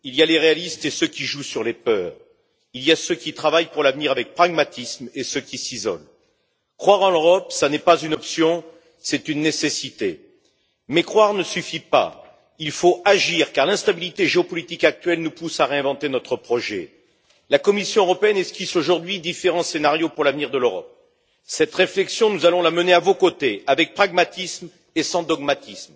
Monsieur le Président, il y a ceux qui s'affirment et ceux qui se résignent, il y a les réalistes et ceux qui jouent sur les peurs, il y a ceux qui travaillent pour l'avenir avec pragmatisme et ceux qui s'isolent. Croire en l'Europe, ce n'est pas une option, c'est une nécessité. Mais croire ne suffit pas il faut agir, car l'instabilité géopolitique actuelle nous pousse à réinventer notre projet. La Commission européenne esquisse aujourd'hui différents scénarios pour l'avenir de l'Europe. Cette réflexion, nous allons la mener à vos côtés, avec pragmatisme et sans dogmatisme.